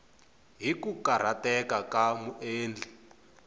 hi ku karhateka ka muendli